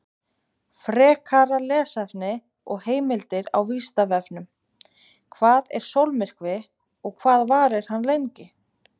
Frekara lesefni og heimildir á Vísindavefnum: Hvað er sólmyrkvi og hvað varir hann lengi?